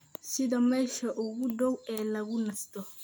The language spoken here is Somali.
sida meesha ugu dhow ee lagu nasto